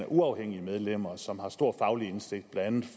uafhængige medlemmer som har stor faglig indsigt blandt andet